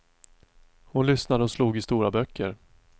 Hon lyssnade och slog i stora böcker.